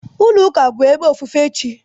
Ulo Ụka bụ ebe ofufe chi.